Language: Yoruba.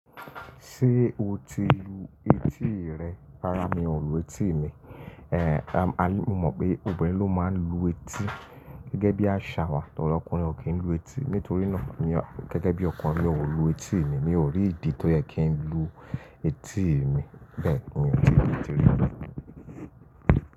Ṣé o ti lu etí rẹ? Rárá mi ò lu etí mi. Ehn, mo mọ̀ pé obìnrin ló máa ń lu etí gẹ́gẹ́ bí àṣà wa tò ọkùnrin ò kí ń lu etí. Nítorí náà gẹ́gẹ́ bí ọkùnrin mi ò lu etí mi. Mi ò rí ìdí tó yẹ kí n lu etí mi. Bẹ́ẹ̀ni mi ò tí ì lu etí rí lọ́nà.